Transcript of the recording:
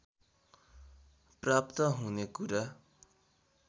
प्राप्त हुने कुरा